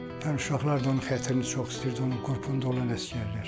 uşaqlar da onun xətrini çox istəyirdi onun qrupunda olan əsgərlər.